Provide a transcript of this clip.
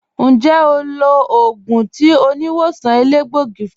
Ǹjẹ́ ó lọ̀ ogun tì oníwọ̀sàn èlẹgbọ̀gí fún ọ?